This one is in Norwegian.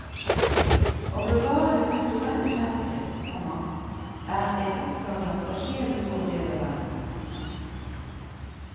Å bevare det kulturelle særpreg, komma er en oppgave for hele vår del av verden. punktum